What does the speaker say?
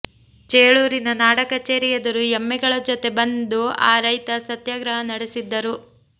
ಚೇಳೂರಿನ ನಾಡ ಕಚೇರಿ ಎದುರು ಎಮ್ಮೆಗಳ ಜೊತೆ ಬಂದು ಆ ರೈತ ಸತ್ಯಾಗ್ರಹ ನಡೆಸಿದ್ದರು